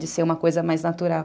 De ser uma coisa mais natural.